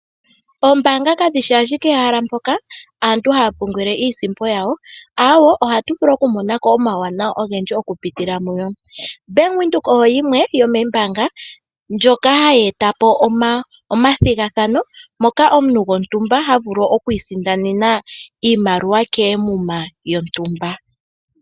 Oombanga kadhishi ashike ehala mpoka aantu haya pungulile iisimpo yawo ohatu vulu oku monako omawu wananwa ogendji okupitila muyo. Bank windhoek oyo yimwe yomombanga ndjoka hayi eta po omathigathano moka omuntu gontumba ha vulu oku isindanena iimaliwa koomuma dhontumba.